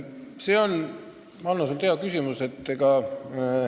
See on sinult, Hanno, hea küsimus.